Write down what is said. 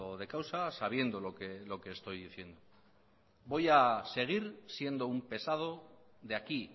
de causa sabiendo lo que estoy diciendo voy a seguir siendo un pesado de aquí